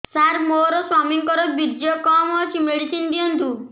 ସାର ମୋର ସ୍ୱାମୀଙ୍କର ବୀର୍ଯ୍ୟ କମ ଅଛି ମେଡିସିନ ଦିଅନ୍ତୁ